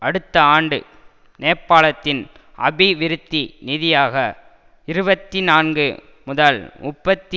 அடுத்த ஆண்டு நேபாளத்தின் அபிவிருத்தி நிதியாக இருபத்தி நான்கு முதல் முப்பத்தி